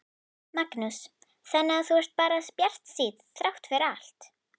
Magnús: Þannig að þú ert bara bjartsýnn þrátt fyrir allt?